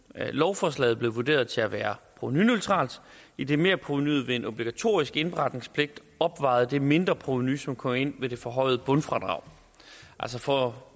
lovforslaget blev vurderet til at være provenuneutralt idet merprovenuet ved en obligatorisk indberetningspligt opvejede det mindre provenu som kom ind ved det forhøjede bundfradrag for